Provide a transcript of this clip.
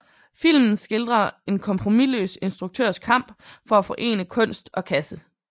Filmen skildrer en kompromisløs instruktørs kamp for at forene kunst og kasse